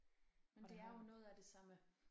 Men det er jo noget af det sammen